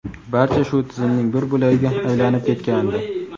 barcha shu tizimning bir bo‘lagiga aylanib ketgandi.